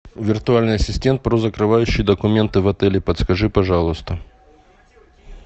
виртуальный ассистент про закрывающие документы в отеле подскажи пожалуйста